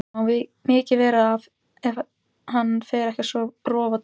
Það má mikið vera ef hann fer ekki að rofa til.